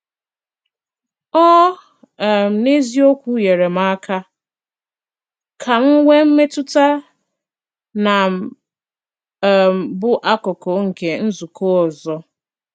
Ó um n’eziokwu nyere m aka ka m nwee mmetụta na m um bụ̀ akụkụ̀ nke nzùkọ ọzọ.